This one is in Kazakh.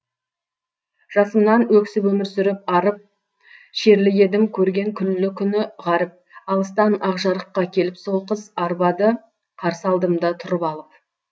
жасымнан өксіп өмір сүріп арып шерлі едім көрген күллі күні ғаріп алыстан ақжарыққа келіп сол қыз арбады қарсы алдымда тұрып алып